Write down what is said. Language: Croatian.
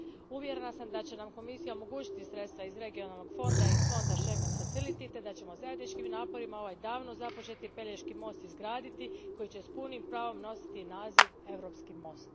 Uvjerena sam da će nam Komisija omogućiti sredstva iz Regionalnog fonda i fonda Schengen Facility te da ćemo zajedničkim naporima ovaj davno započeti Pelješki most izgraditi i da će s punim pravom nositi naziv europski most.